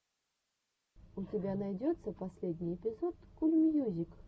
у тебя найдется последний эпизод кул мьюзик